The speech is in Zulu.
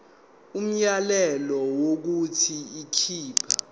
umyalelo wokuthi akhipha